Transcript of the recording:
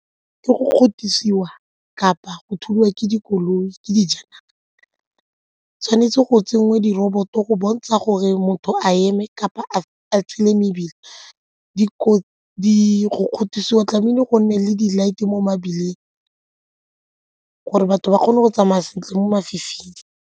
Ke go kapa go thulwa ke dikoloi tshwanetse go tsenngwe diroboto go bontsha gore motho a eme kapa a tshele mebila go kgothosiwa tlamehile go nne le di-light-s mo mebileng gore batho ba kgone go tsamaya sentle mo mafifing.